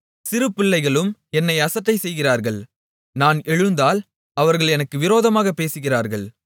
சிறுபிள்ளைகளும் என்னை அசட்டை செய்கிறார்கள் நான் எழுந்தால் அவர்கள் எனக்கு விரோதமாகப் பேசுகிறார்கள்